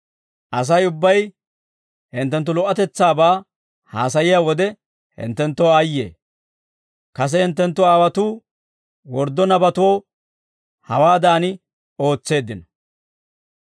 Asay ubbay hinttenttu lo"otetsaabaa haasayiyaa wode, hinttenttoo aayye; kase hinttenttu aawotuu worddo nabatoo, hawaadan ootseeddino.